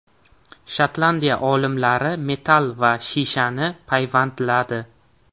Shotlandiya olimlari metall va shishani payvandladi.